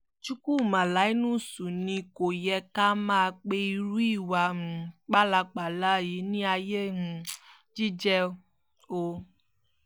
chukwuma linus ni kò yẹ ká máa pe irú ìwà um pálapàla yìí ní ayé um jíjẹ́ o